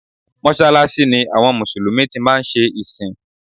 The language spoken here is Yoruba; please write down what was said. Mọ́sàlàṣí ni àwọn Mùsùlùmí tí máa ń ṣe ìsìn